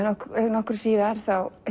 nokkru síðar